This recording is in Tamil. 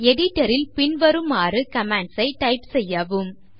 Editor ல் பின்வருமாறு commands ஐ டைப் செய்யவும்